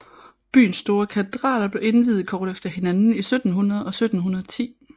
Byens to store katedraler blev indviet kort efter hinanden i 1700 og 1710